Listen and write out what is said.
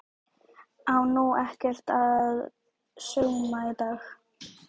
Á nú ekkert að sauma í dag?